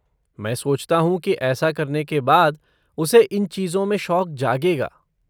मैं सोचता हूँ कि ऐसा करने के बाद, उसे इन चीजों में शौक जागेगा।